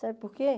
Sabe por quê?